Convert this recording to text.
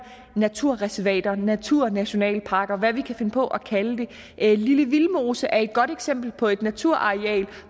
naturreservater naturnationalparker og hvad vi kan finde på at kalde det lille vildmose er et godt eksempel på et naturareal